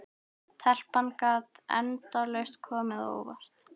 Telpan gat endalaust komið á óvart.